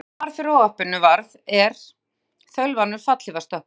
Konan, sem fyrir óhappinu varð, er þaulvanur fallhlífarstökkvari.